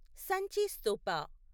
సంచి స్తూప